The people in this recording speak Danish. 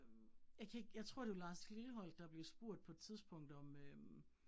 Øh jeg kan ikke, jeg tror, det var Lars Lilholt, der blev spurgt på et tidspunkt om øh